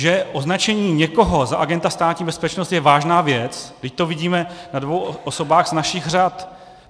Že označení někoho za agenta Státní bezpečnosti je vážná věc, vždyť to vidíme na dvou osobách z našich řad.